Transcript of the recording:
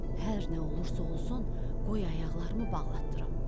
Hər nə olursa olsun, qoy ayaqlarımı bağlatdırım.